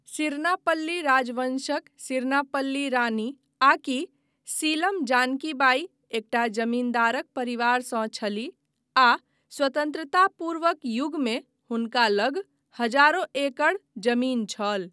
सिरनापल्ली राजवंशक सिरनापल्ली रानी आकि सीलम जानकी बाई एकटा जमींदार परिवारसँ छलीह आ स्वतन्त्रता पूर्वक युगमे हुनका लग हजारो एकड़ जमीन छल।